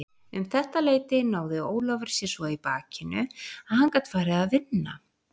Um þetta leyti náði Ólafur sér svo í bakinu að hann gat farið að vinna.